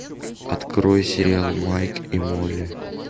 открой сериал майк и молли